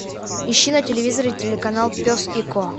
ищи на телевизоре телеканал пес и ко